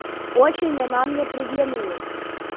очень она мне приглянулась